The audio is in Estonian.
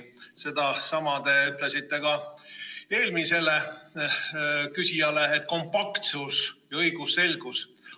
Sedasama te ütlesite ka eelmisele küsijale, et kompaktsus ja õigusselgus.